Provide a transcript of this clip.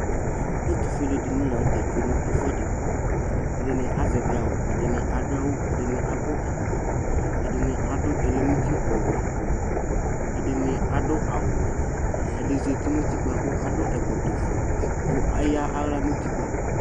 ɛtʋƒʋɛlɛ dini lantɛ twɛnʋ ɛƒʋɛdi, ɛdini azɛvi awʋ ɛdini adʋ awʋ ɛdini akɔ ɛkɔtɔ, ɛdini adʋ ɔlɛnʋ ʋti awʋ ɔwɛ, ɛdi zati nʋ ʋtikpa kʋ adʋ ɛkɔtɔ ƒʋɛ kʋ ayala nʋ ʋtikpa